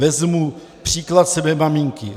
Vezmu příklad své maminky.